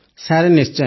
sir ନିଶ୍ଚୟ